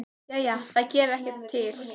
Jæja, það gerði þá ekkert til.